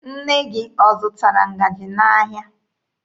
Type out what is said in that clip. Nne gị ọ zụtara ngaji n'ahịa?